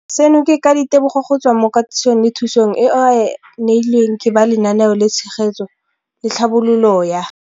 Seno ke ka ditebogo go tswa mo katisong le thu song eo a e neilweng ke ba Lenaane la Tshegetso le Tlhabololo ya